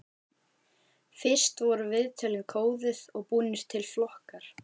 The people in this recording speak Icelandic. Fyrst voru viðtölin kóðuð og búnir til flokkar.